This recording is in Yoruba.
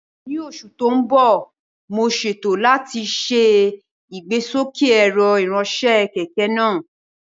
Ní oṣù tó ń bọ̀, mo ṣètò láti ṣe ìgbésókè ẹ̀rọ ìránṣẹ́ kẹ̀kẹ́ náà